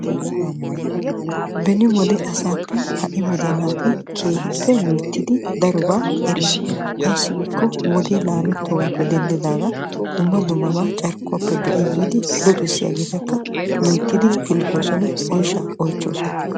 Beni wodiya asappe ha'i wodiya naati keehippe minoo ayssi dumma dumma carkkuwan luxxiddi yiiddi oyshshakka oychchosonna.